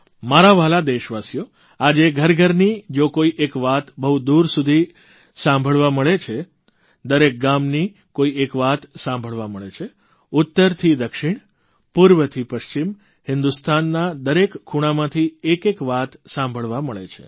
મારા વ્હાલા દેશવાસીઓ આજે ઘરઘરની જો કોઇ એક વાત બહુ દૂર સુધી સાંભળવા મળે છે દરેક ગામની કોઇ એક વાત સાંભળવા મળે છે ઉત્તરથી દક્ષિણ પૂર્વથી પશ્ચિમ હિંદુસ્તાનના દરેક ખૂણામાંથી એક એક વાત સાંભળવા મળે છે